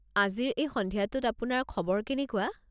আজিৰ এই সন্ধিয়াটোত আপোনাৰ খবৰ কেনেকুৱা?